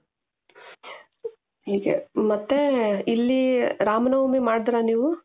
ಹೀಗೆ ಮತ್ತೆ ಇಲ್ಲಿ ರಾಮನವಮಿ ಮಾಡುದ್ರಾ ನೀವು?